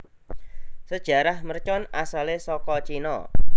Sejarah mercon asalé saka Cina